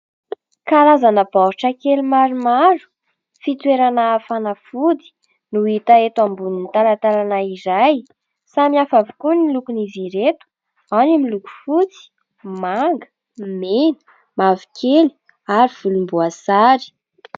Karazana baoritra kely maromaro fitoerana fanafody no hita eto ambonin'ny talantalana iray. Samy hafa avokoa ny lokon'izy ireto : ao ny miloko fotsy, manga, mena, mavokely ary volomboasary.